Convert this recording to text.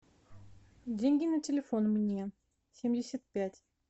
деньги на телефон мне семьдесят пять